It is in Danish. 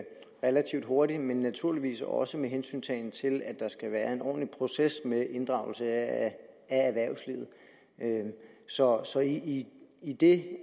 relativt hurtigt men naturligvis også med hensyntagen til at der skal være en ordentlig proces med inddragelse af erhvervslivet så så i i det